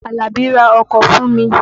Àlàbí ra ọkọ̀ fùn mi.